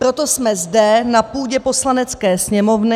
Proto jsme zde na půdě Poslanecké sněmovny...